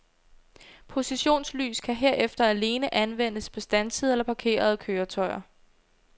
Positionslys kan herefter alene anvendes på standsede eller parkerede køretøjer.